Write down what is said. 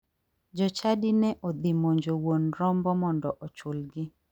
Jochadi ne odhi monjo wuon rombo mondo ochulgi.